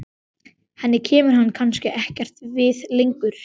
Henni kemur hann kannski ekkert við lengur.